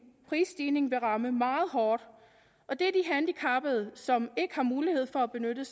prisstigningen vil ramme meget hårdt og det er de handicappede som ikke har mulighed for at benytte